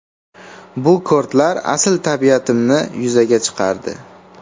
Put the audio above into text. Bu kortlar asl tabiatimni yuzaga chiqardi.